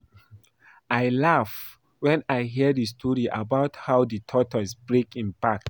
I laugh wen I hear the story about how the tortoise break im back